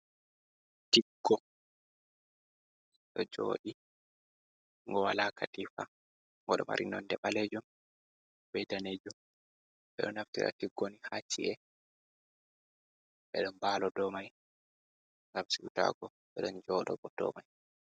Tiggo ɗo joɗi ngo wala katifa ngo ɗo mari nonde ɓalejum be danejum, ɓeɗo naftira tiggo ni haci’e ɓeɗo mbalo dou mai ngam siwutago, ɓeɗon jo ɗo bo dou mai.